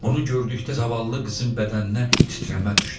Bunu gördükdə zavallı qızın bədəninə titrəmə düşdü.